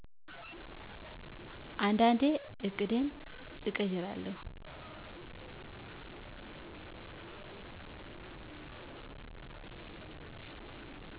አንዳንዴ ዕቅዴን እቀይራለሁ